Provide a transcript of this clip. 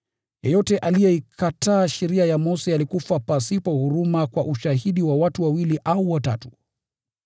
Yeyote aliyeikataa sheria ya Mose alikufa pasipo huruma kwa ushahidi wa watu wawili au watatu.